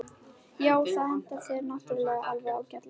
Já, það hentar þér náttúrulega alveg ágætlega.